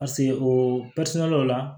Paseke o la